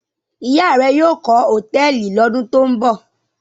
Ìyá rẹ yóò kọ́ hòtẹ́ẹ́lì lọ́dún tó ń bọ̀?